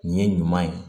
Nin ye ɲuman ye